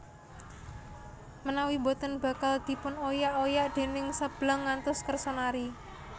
Menawi boten bakal dipun oyak oyak déning Seblang ngantos kersa nari